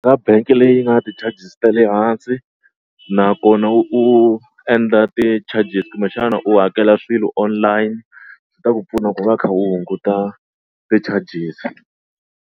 Ka bank-e leyi nga ti-charges ta le hansi nakona u endla ti-charges kumbexana u hakela swilo online swi ta ku pfuna ku va u kha u hunguta ti-charges.